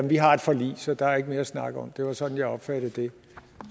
vi har et forlig så der er ikke mere at snakke om det var sådan jeg opfattede det